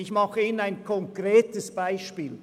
Ich nenne Ihnen ein konkretes Beispiel: